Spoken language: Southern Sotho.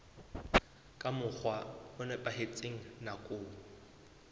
ka mokgwa o nepahetseng nakong